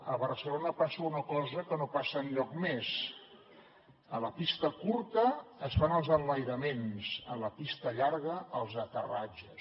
a barcelona passa una cosa que no passa enlloc més a la pista curta es fan els enlairaments a la pista llarga els aterratges